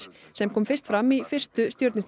sem kom fyrst fram í fyrstu